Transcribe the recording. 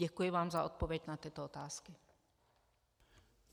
Děkuji vám za odpověď na tyto otázky.